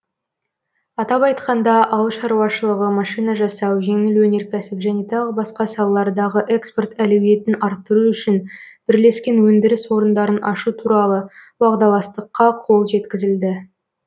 атап айтқанда ауыл шаруашылығы машина жасау жеңіл өнеркәсіп және тағы басқа салалардағы экспорт әлеуетін арттыру үшін бірлескен өндіріс орындарын ашу туралы уағдаластыққа қол жеткізілді